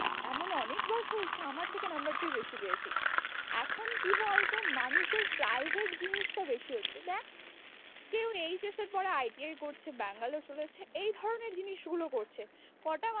এমন অনেকবার হয়েছে আমার থেকে number তুই বেশি পেয়েছিস। এখন কি বলতো মানুষের private জিনিসটা বেশি হচ্ছে, দেখ কেও HS এর পরে ITI করছে ব্যাঙ্গালোর চলে যাচ্ছে, এই ধরণের জিনিসগুলো করছে। কোটা মানুষ